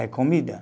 É comida